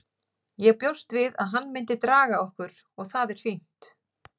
Ég bjóst við að hann myndi draga okkur og það er fínt.